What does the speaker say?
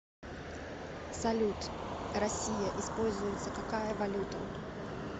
салют россия используется какая валюта